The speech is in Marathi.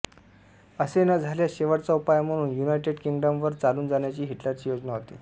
असे न झाल्यास शेवटचा उपाय म्हणून युनायटेड किंग्डमवर चालून जाण्याची हिटलरची योजना होती